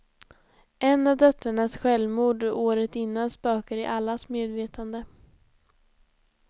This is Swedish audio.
En av döttrarnas självmord året innan spökar i allas medvetanden.